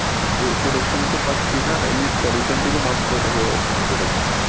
Pro~protection তো পাচ্ছি ই না আর এম্নিতেও pollution থেকেও mask পরে থাকলে protection